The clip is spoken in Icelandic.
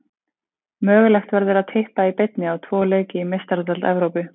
Mögulegt verður að Tippa í beinni á tvo leiki í Meistaradeild Evrópu.